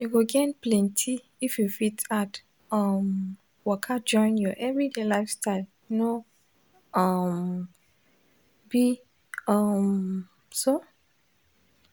you go gain plenty if you fit add um waka join your everyday lifestyle no um be um so?